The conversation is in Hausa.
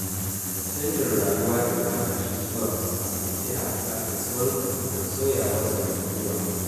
Canjin rayuwa daga matashi zuwa babba yana buƙatar saurin fahimtar sauyawar zamantakewa.